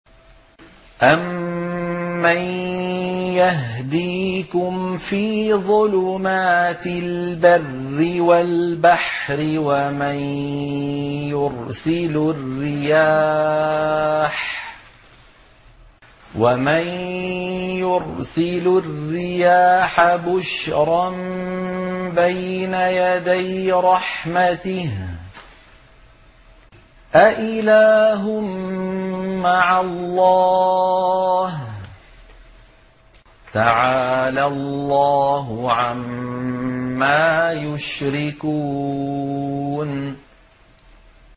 أَمَّن يَهْدِيكُمْ فِي ظُلُمَاتِ الْبَرِّ وَالْبَحْرِ وَمَن يُرْسِلُ الرِّيَاحَ بُشْرًا بَيْنَ يَدَيْ رَحْمَتِهِ ۗ أَإِلَٰهٌ مَّعَ اللَّهِ ۚ تَعَالَى اللَّهُ عَمَّا يُشْرِكُونَ